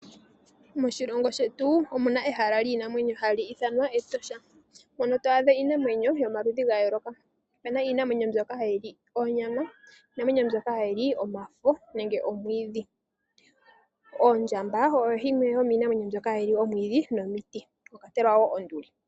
Moshilongo shetu omu na ehala liinamwenyo hali ithanwa Etosha mono to adha omaludhi giinamwenyo ya yooloka. Ope na iinamwenyo mbyoka hayi li onyama, niinamwenyo mbyoka hayi li omafo nenge omwiidhi. Ondjamba oyo yimwe yomiinamwenyo mbyoka hayi li omwiidhi nomiti, mwa kwatelwa wo onduli.